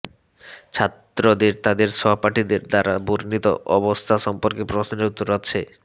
ছাত্রদের তাদের সহপাঠীদের দ্বারা বর্ণিত অবস্থা সম্পর্কে প্রশ্নের উত্তর আছে